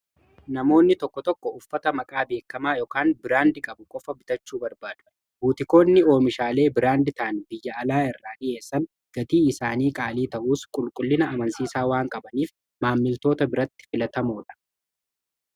namoonni tokko tokko uffata maqaa beekamaa yookaan biraandii qabu qofa bitachuu barbaadu buutikoonni oomishaalee biraandii ta'an biyya alaa irraa dhi'eessan gatii isaanii qaalii ta'uus qulqullina amansiisaa waan qabaniif maammiltoota biratti filatamoodha.